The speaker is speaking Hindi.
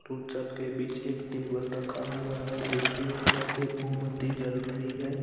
उन सबके बीच एक टेबल रखा हुआ है जिसके ऊपर एक मोमबत्ती जल रही है ।